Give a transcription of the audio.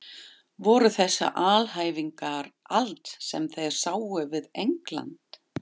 Voru þessar alhæfingar allt sem þeir sáu við England?